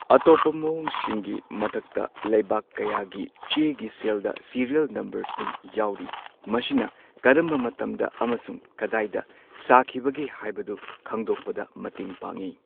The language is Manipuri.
ꯑꯇꯣꯞꯄ ꯃꯋꯣꯡꯁꯤꯡꯒꯤ ꯃꯊꯛꯇ ꯂꯩꯕꯥꯛ ꯀꯌꯥꯒꯤ ꯆꯦꯒꯤ ꯁꯦꯜꯗ ꯁꯤꯔꯦꯜ ꯅꯝꯕꯔꯁꯤꯡ ꯌꯥꯎꯔꯤ꯫ ꯃꯁꯤꯅ ꯀꯔꯝꯕ ꯃꯇꯝꯗ ꯑꯃꯁꯨꯡ ꯀꯗꯥꯏꯗ ꯁꯥꯈꯤꯕꯒꯦ ꯍꯥꯏꯕꯗꯨ ꯈꯪꯗꯣꯛꯄꯗ ꯃꯇꯦꯡ ꯄꯥꯡꯉꯤ꯫